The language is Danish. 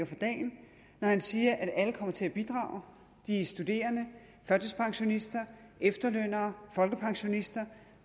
for dagen når han siger at alle kommer til at bidrage de studerende førtidspensionisterne efterlønnerne folkepensionisterne og